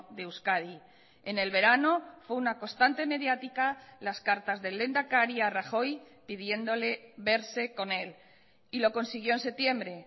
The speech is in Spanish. de euskadi en el verano fue una constante mediática las cartas del lehendakari a rajoy pidiéndole verse con él y lo consiguió en septiembre